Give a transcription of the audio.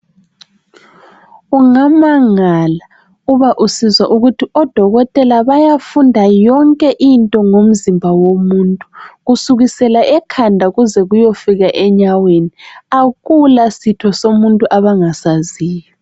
Ungamangala uba usizwa ukuthi odokotela bayafunda yonke into ngomzimba womuntu kusukisela ekhanda kuze kuyefika enyaweni. Akula sitho somuntu abangasaziyo.